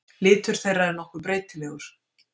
litur þeirra er nokkuð breytilegur